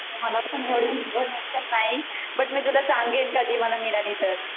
मला पण एवढी इन्फॉर्मेशन नाही बट मी तुला सांगेन कधी मला मिळाली तर